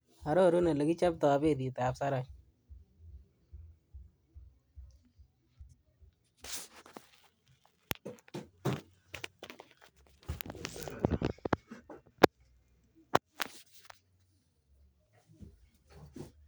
Ororun olekichoptoi mbaret ab sarat